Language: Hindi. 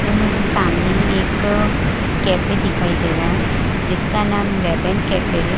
में मुझे सामने ही एक कैफे दिखाई दे रहा है जिसका नाम रेबन कैफे है।